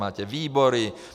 Máte výbory.